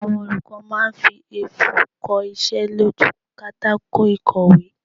Àwọn olùkọ́ máa fi ẹfun kosé lójú u pátákó ìkọ̀wé